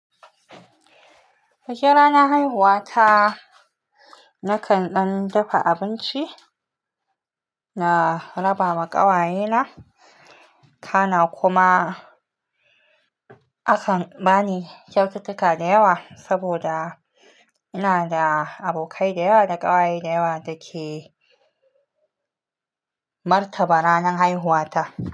Bikin ranar haihuwa ta, nakan ɗan dafa abinci, na rabawa ƙawaye na, kana kuma akan bani kyautuka da yawa. Saboda inada abokai da yawa da ƙawaye da yawa da ke martaba ranar haihuwa ta.